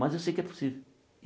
Mas eu sei que é possível.